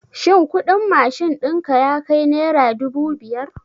Shin kuɗin mashin ɗinka yakai nera dubu biyar?